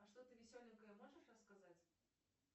а что то веселенькое можешь рассказать